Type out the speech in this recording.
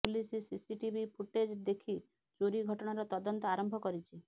police CCTV footage ଦେଖି ଚୋରି ଘଟଣାର ତଦନ୍ତ ଆରମ୍ଭ କରିଛି